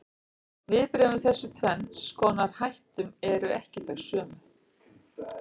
Viðbrögðin við þessum tvenns konar hættum eru ekki þau sömu.